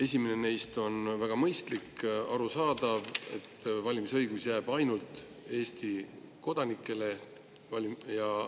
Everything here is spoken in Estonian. Esimene neist on väga mõistlik, arusaadav, et valimisõigus jääb ainult Eesti kodanikele.